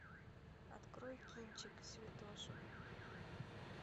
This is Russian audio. открой кинчик святоша